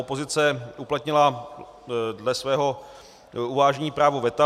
Opozice uplatnila dle svého uvážení právo veta.